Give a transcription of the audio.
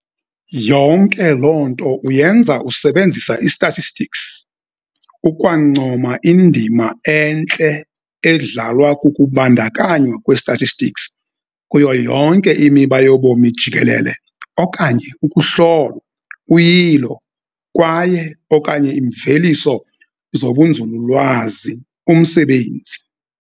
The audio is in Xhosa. Yonke loo nto uyenza usebenzisa i-statistics, ukwancoma indima entle edlalwa kukubandakanywa kwe-statistics kuyo yonke imiba yobomi jikelele okanye ukuhlolwa, uyilo, kwaye - okanye imveliso zobunzululwazi umsebenzi.